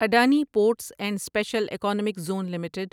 Adani ports and special economic zone limited